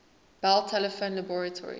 bell telephone laboratories